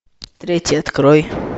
третий открой